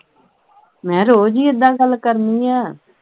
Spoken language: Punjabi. ਮਹਿ ਰੋਜ਼ ਹੀ ਇੱਦਾਂ ਗੱਲ ਕਰਨੀ ਆ